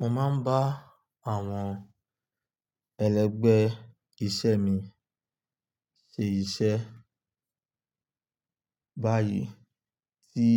Mo máa ń bá àwọn ẹlẹgbẹ́ iṣẹ́ mi ṣe iṣẹ́, báyìí tí